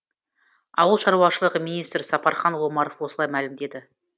ауыл шаруашылығы министрі сапархан омаров осылай мәлімдеді